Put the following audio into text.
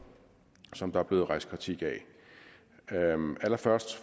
som der er blevet rejst kritik af allerførst